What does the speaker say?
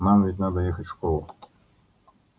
нам ведь надо ехать в школу